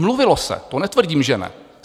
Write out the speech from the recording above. Mluvilo se, to netvrdím, že ne.